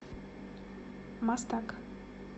мастак